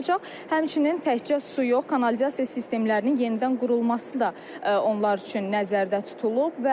Həmçinin təkcə su yox, kanalizasiya sistemlərinin yenidən qurulması da onlar üçün nəzərdə tutulub.